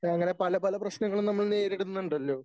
അങ്ങനെ പല പല പ്രശ്നങ്ങള് നമ്മൾ നേരിടുന്നുണ്ടല്ലോ